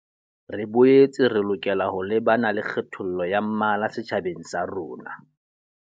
Re boetse re lokela ho lebana le kgethollo ya mmala setjhabeng sa rona.